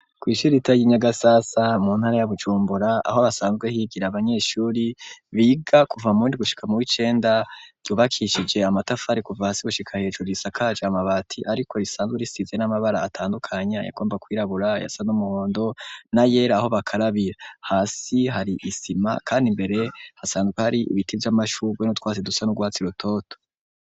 Kw'ishirita yi Nyagasasa mu ntara ya Bujumbura aho basanzwe higira abanyeshuri biga kuva mu windwi gushika mu w'icenda yubakishije amatafari kuva hasi gushika hejuru risakaje amabati ariko risanzwe risize n'amabara atandukanya ayagomba kwirabura ayasa n'umuhondo na yera aho bakarabira hasi hari isima kandi imbere hasanzwe hari ibiti vy'amashugwe n'utwase dusa n'urwatsi rutoto.